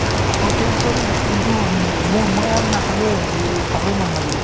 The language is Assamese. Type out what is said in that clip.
আকৌ change কৰিলে কিন্তু ম্মম্ম মই আৰু নাখালোয়েই এই খাবই মন নগল